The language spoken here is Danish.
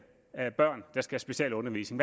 af børn der skal specielundervises